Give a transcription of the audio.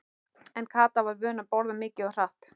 En Kata var vön að borða mikið og hratt.